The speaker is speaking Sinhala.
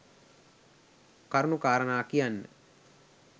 කරුණු කාරණා කියන්න